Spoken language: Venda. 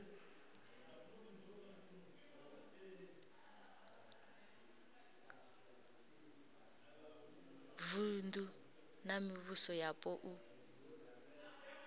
vunu na mivhuso yapo u